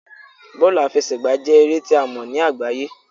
Bọọlu afẹsẹgba jẹ ere ti a mọ ni agbaye